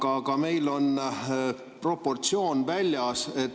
Aga meil on see proportsioonist väljas.